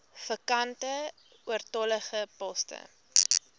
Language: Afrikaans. vakante oortollige poste